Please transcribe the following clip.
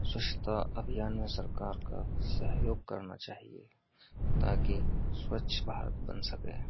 स्वच्छता अभियानों सरकार का सहयोग करना चाहिए ताकि स्वच्छ भारत बन सके।